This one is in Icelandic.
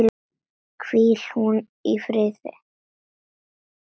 Hvíl hún í friði.